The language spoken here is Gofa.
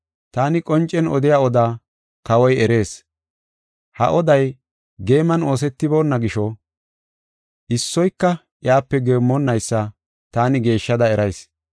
Taani qoncen odiya odaa Kawoy erees. Ha oday geeman oosetiboonna gisho issoyka iyape geemmonaysa taani geeshshada erayis.